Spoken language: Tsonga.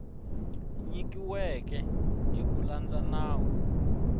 nyikiweke hi ku landza nawu